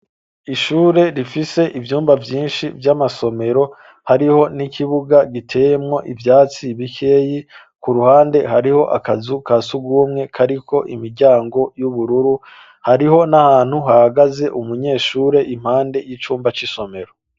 Ishure rifise ivyumba vyinshi vy'amasomero ,hariho n'ikibuga giteyemwo ivyatsi bikeyi ,k'uruhande hariho akazu ka sugumwe, kariko imiryango y'ubururu, hariho n'ahantu hagaze umunyeshure impande y'icumba c'isomero.